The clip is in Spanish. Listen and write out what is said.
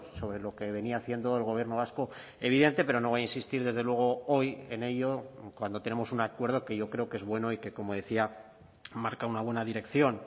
sobre lo que venía haciendo el gobierno vasco evidente pero no va a insistir desde luego hoy en ello cuando tenemos un acuerdo que yo creo que es bueno y que como decía marca una buena dirección